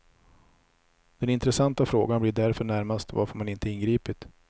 Den intressanta frågan blir därför närmast varför man inte ingripit.